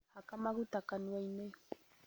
Haka maguta kanua-inĩ